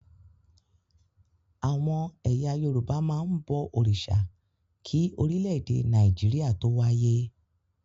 Àwọn ẹ̀yà Yorùbá máa ń bọ òrìṣà kí orílẹ̀-èdè Nàìjíríà tó wáyé.